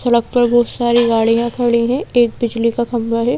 सड़क पर बहुत सारी गाड़ियां खड़ी हैं एक बिजली का खंबा है।